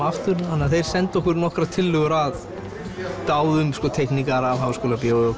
aftur þannig að þeir sendu okkur nokkrar tillögur að báðu um teikningar af Háskólabíói